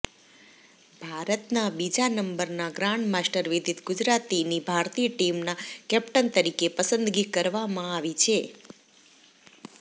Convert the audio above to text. ભારતના બીજા નંબરના ગ્રાન્ડમાસ્ટર વિદિત ગુજરાતીની ભારતીય ટીમના કેપ્ટન તરીકે પસંદગી કરવામાં આવી છે